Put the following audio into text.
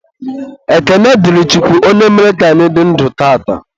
Ekene dịrị Chukwu onye mere ka anyị dị ndụ tata.